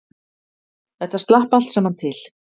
Þetta slapp allt saman til